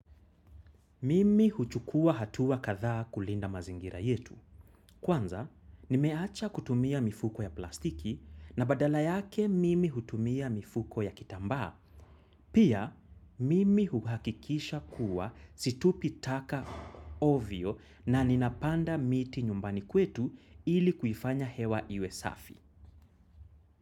Mimi huchukua hatua kathaw kulinda mazingira yetu. Kwanza, nimeacha kutumia mifuko ya plastiki na badala yake mimi hutumia mifuko ya kitambaa. Pia, mimi huhakikisha kuwa situpi taka ovio na ninapanda miti nyumbani kwetu ili kuifanya hewa iwe safi.